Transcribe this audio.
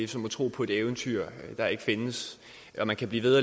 som at tro på et eventyr der ikke findes man kan blive ved